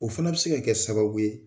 O fana bɛ se ka kɛ sababu ye